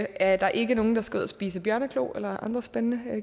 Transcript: er der ikke nogen der skal ud og spise bjørneklo alle andre spændende